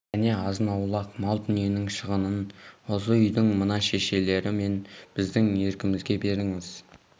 және азын-аулақ мал-дүниенің шығынын осы үйдің мына шешелер мен біздің еркімізге беріңіз